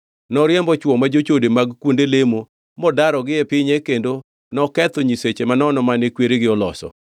Noriembo chwo ma jochode mag kuonde lemo modarogi e pinye kendo noketho nyiseche manono mane kweregi oloso.